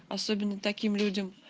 особенно таким людям